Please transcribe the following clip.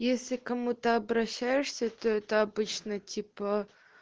если кому то обращаешься то это обычно типа